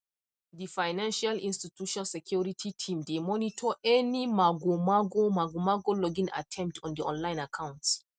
the financial institution security team dey monitor any magomago magomago login attempts on the online accounts